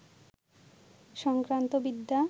সংক্রান্ত বিদ্যা